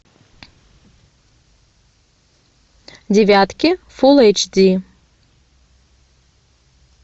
девятки фул эйч ди